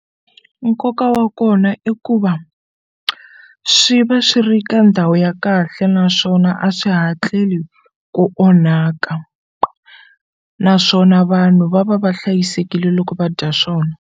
Nkoka wa kona i ku va swi va swi ri ka ndhawu ya kahle naswona a swi hatleli ku onhaka naswona vanhu va va va hlayisekile loko va dya swona.